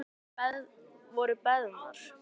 Bænir voru beðnar.